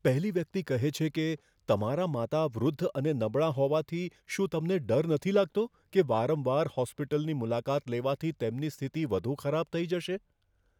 પહેલી વ્યક્તિ કહે છે કે, તમારા માતા વૃદ્ધ અને નબળાં હોવાથી, શું તમને ડર નથી લાગતો કે વારંવાર હોસ્પિટલની મુલાકાત લેવાથી તેમની સ્થિતિ વધુ ખરાબ થઈ જશે?